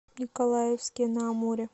николаевске на амуре